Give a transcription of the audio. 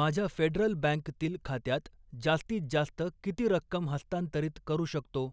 माझ्या फेडरल बँकतील खात्यात जास्तीत जास्त किती रक्कम हस्तांतरित करू शकतो?